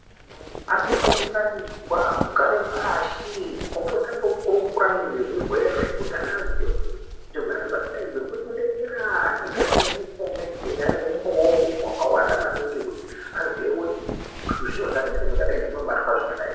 Antu akaunganidzwa kugare pashi ombokurukura nezvezvirwere kuti ana aziye kuti zvinotapurirwana sei uye ane umbowo wekuti zvinofamba